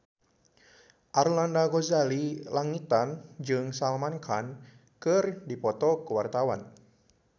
Arlanda Ghazali Langitan jeung Salman Khan keur dipoto ku wartawan